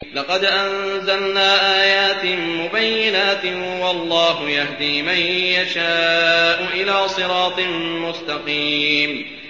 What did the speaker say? لَّقَدْ أَنزَلْنَا آيَاتٍ مُّبَيِّنَاتٍ ۚ وَاللَّهُ يَهْدِي مَن يَشَاءُ إِلَىٰ صِرَاطٍ مُّسْتَقِيمٍ